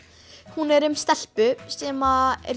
hún er um stelpu sem er